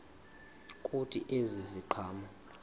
kuthi ezi ziqhamo